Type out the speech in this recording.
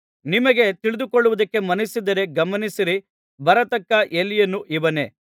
ನಿಮಗೆ ತಿಳಿದುಕೊಳ್ಳುವುದಕ್ಕೆ ಮನಸ್ಸಿದ್ದರೆ ಗಮನಿಸಿ ಬರತಕ್ಕ ಎಲೀಯನು ಇವನೇ